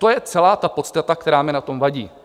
To je celá ta podstata, která mi na tom vadí.